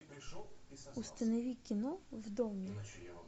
установи кино в доме